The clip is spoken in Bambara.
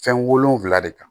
Fɛn wolonwula de kan